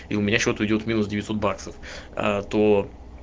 и у меня с счета идёт минус девятьсот баксов аа то